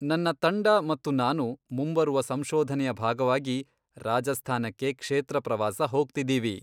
ನನ್ನ ತಂಡ ಮತ್ತು ನಾನು, ಮುಂಬರುವ ಸಂಶೋಧನೆಯ ಭಾಗವಾಗಿ ರಾಜಸ್ಥಾನಕ್ಕೆ ಕ್ಷೇತ್ರ ಪ್ರವಾಸ ಹೋಗ್ತಿದ್ದೀವಿ.